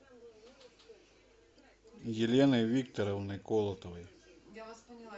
еленой викторовной колотовой